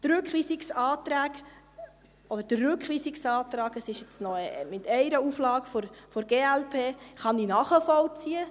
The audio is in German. Die Rückweisungsanträge, oder den Rückweisungsantrag – es gibt jetzt noch eine Auflage der glp – kann ich nachvollziehen.